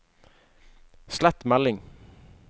slett melding